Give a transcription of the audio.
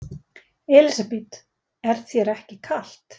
Elísabet: Er þér ekkert kalt?